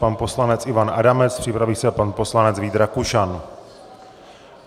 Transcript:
Pan poslanec Ivan Adamec, připraví se pan poslanec Vít Rakušan.